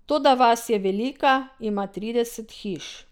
Toda vas je velika, ima trideset hiš.